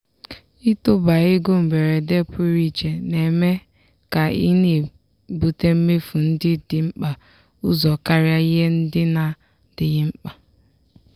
ịtọba ego mberede pụrụ iche na-eme ka ị na-ebute mmefu ndị dị mkpa ụzọ karịa ihe ndị na-adịghị mkpa.